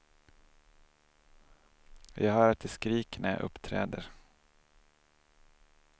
Jag hör att de skriker när jag uppträder.